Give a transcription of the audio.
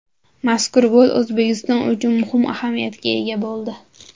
Mazkur gol O‘zbekiston uchun muhim ahamiyatga ega bo‘ldi.